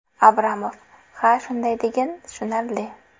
Abramov: Ha, shunday degin... Tushunarli.